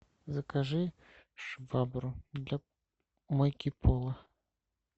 закажи швабру для мойки пола